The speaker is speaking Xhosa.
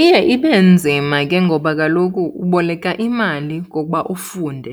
Iye ibe nzima ke ngoba kaloku uboleka imali ngokuba ufunde,